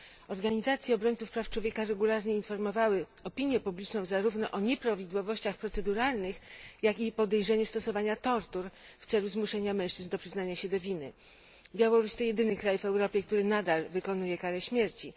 Organizacje obrońców praw człowieka regularnie informowały opinię publiczną zarówno o nieprawidłowościach proceduralnych, jak i podejrzeniu stosowania tortur w celu zmuszenia mężczyzn do przyznania się do winy. Białoruś to jedyny kraj w Europie, który nadal wykonuje karę śmierci.